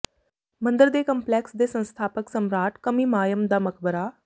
ਮੰਦਰ ਦੇ ਕੰਪਲੈਕਸ ਦੇ ਸੰਸਥਾਪਕ ਸਮਰਾਟ ਕਮੀਮਾਅਮ ਦਾ ਮਕਬਰਾ